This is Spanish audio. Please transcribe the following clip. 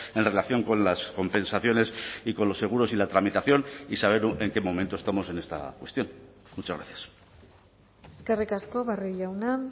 en relación con las compensaciones y con los seguros y la tramitación y saber en qué momento estamos en esta cuestión muchas gracias eskerrik asko barrio jauna